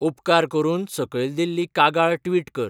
उपकार करून सकयल दिल्ली कागाळ ट्विट कर